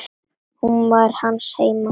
Hún var hans heima.